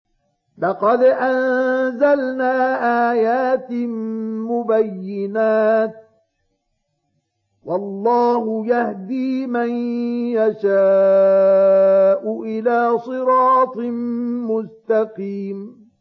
لَّقَدْ أَنزَلْنَا آيَاتٍ مُّبَيِّنَاتٍ ۚ وَاللَّهُ يَهْدِي مَن يَشَاءُ إِلَىٰ صِرَاطٍ مُّسْتَقِيمٍ